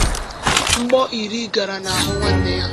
Mgbọ iri gara n’ahụ nwanne ya.